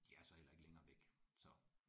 De er så heller ikke længere væk så